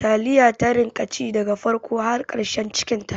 Taliya ta rika ci daga farko har ƙarshen cikinta